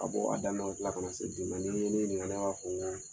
Ka bɔ a daminɛ waati kana se bi ma, ni ye ne ɲininga ne b'a fɔ n ko